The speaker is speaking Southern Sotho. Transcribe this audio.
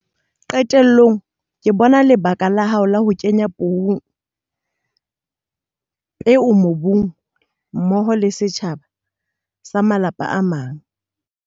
Qetellong ke bona lebaka la hao la ho kenya peo mobung mmoho le setjhaba sa malapa a mang.